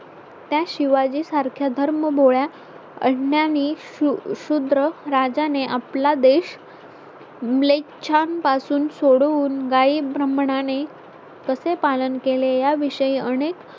त्या शिवाजी सारख्या धर्मभोळ्या अज्ञानी शूद्र राजाने आपला देश black chuan पासून सोडून वाई ब्राह्मणा ने कसे पालन केले याविषयी अनेक